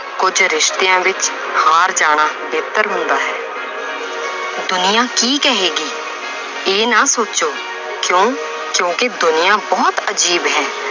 ਕੁੱਝ ਰਿਸ਼ਤਿਆਂ ਵਿੱਚ ਹਾਰ ਜਾਣਾ ਬਿਹਤਰ ਹੁੰਦਾ ਹੈ ਦੁਨੀਆਂ ਕੀ ਕਹੇਗੀ ਇਹ ਨਾ ਸੋਚੋ ਕਿਉਂ ਕਿਉਂਕਿ ਦੁਨੀਆਂ ਬਹੁਤ ਅਜ਼ੀਬ ਹੈ